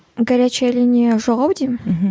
горячая линия жоқ ау деймін мхм